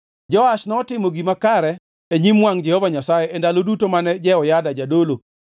Joash notimo gima kare e nyim wangʼ Jehova Nyasaye e ndalo duto mane Jehoyada jadolo.